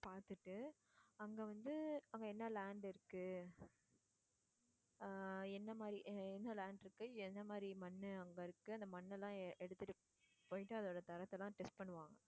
பாத்துட்டு அங்க வந்து அங்க என்ன land இருக்கு ஆஹ் என்ன மாதிரி என்ன land இருக்கு என்ன மாதிரி மண்ணு அங்க இருக்கு அந்த மண்ணெல்லாம் எடுத்துட்டு போயிட்டு அதோட தரத்தை எல்லாம் test பண்ணுவாங்க.